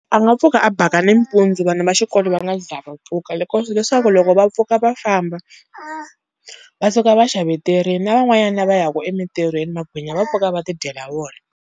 A nga pfuka a baka nimpundzu vana va xikolo va nga za va pfuka leswaku loko va pfuka va famba va suka va xaveterini na van'wanyana lava ya ku emintirhweni magwinya va pfuka va ti dyela wona.